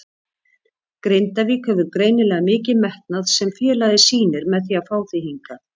Grindavík hefur greinilega mikinn metnað sem félagið sýnir með því að fá þig hingað?